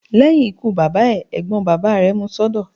Lẹ́yìn ikú bàbá ẹ̀, Ẹ̀gbọ́n bàbá rẹ̀ mú un sọ́dọ̀.